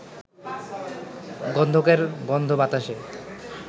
গন্ধকের গন্ধ বাতাসে